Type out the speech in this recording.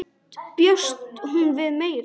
Samt bjóst hún við meiru.